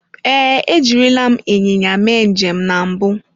Ee, ejirila m ịnyịnya mee njem na mbụ.